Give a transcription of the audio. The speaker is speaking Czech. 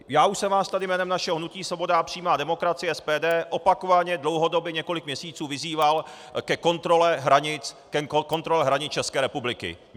Já už jsem vás tady jménem našeho hnutí Svoboda a přímá demokracie, SPD, opakovaně, dlouhodobě, několik měsíců vyzýval ke kontrole hranic České republiky.